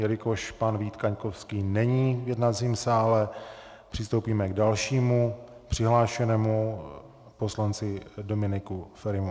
Jelikož pan Vít Kaňkovský není v jednacím sále, přistoupíme k dalšímu přihlášenému, poslanci Dominiku Ferimu.